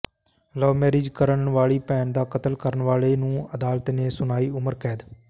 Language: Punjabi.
ਲਵਮੈਰਿਜ ਕਰਨ ਵਾਲੀ ਭੈਣ ਦਾ ਕਤਲ ਕਰਨ ਵਾਲੇ ਨੂੰ ਅਦਾਲਤ ਨੇ ਸੁਣਾਈ ਉਮਰ ਕੈਦ